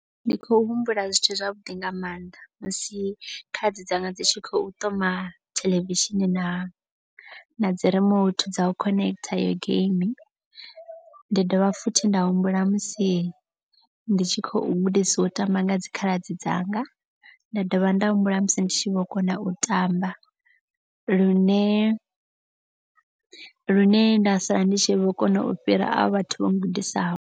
Ndi khou humbula zwithu zwavhuḓi nga maanḓa. Musi khaladzi dzanga dzi tshi khou ṱoma theḽevishini na na dzi remote dza u connect heyo game. Ndi dovha futhi nda humbula musi ndi tshi khou gudisiwa u tamba nga dzikhaladzi dzanga. Nda dovha nda humbula musi ndi tshi vho kona u tamba. Lune lune nda sala ndi tshi vho kona u fhira avho vhathu vho gudisiwaho.